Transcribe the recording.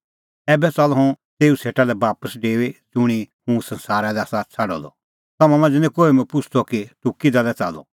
ऐबै च़ाल्लअ हुंह तेऊ सेटा लै बापस डेऊई ज़ुंणी हुंह संसारा लै आसा छ़ाडअ द तम्हां मांझ़ै निं कोहै मुंह पुछ़दअ कि तूह किधा लै च़ाल्लअ